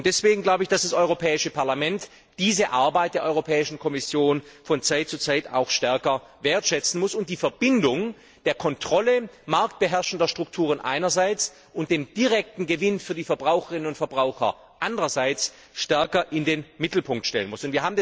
Deswegen glaube ich, dass das Europäische Parlament diese Arbeit der Europäischen Kommission von Zeit zu Zeit auch stärker wertschätzen muss und die Verbindung der Kontrolle marktbeherrschender Strukturen einerseits und des direkten Gewinns für die Verbraucherinnen und Verbraucher andererseits stärker in den Mittelpunkt stellen muss.